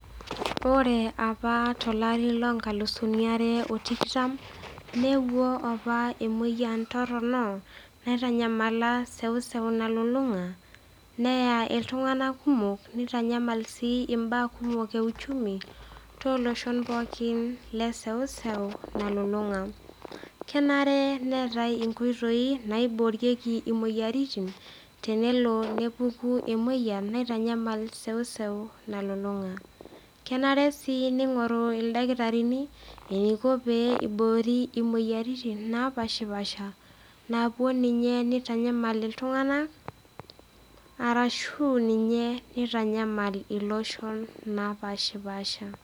Ore opa tolari loo nkalusini are o tikitam, neewuo opa emoyian torino naitanyamala seuseu nalulung'a, neya iltung'ana kumok, neitanyamal sii imbaa kumok e uchumi, tooloshon pookin le eseuseu nalulung'a. Kenare neatai inkoitoi naiboori imoyiaritin tenelo nepuku emoyian naitanyamal eseuseu nalulung'a. Kenare sii neigoru ildakitarini eneiko pee eiboori imoyiaritin napaashapasha naapuo ninye neitanyamal iltung'ana arashu ninye neitanyal iloshon lapaashipaasha.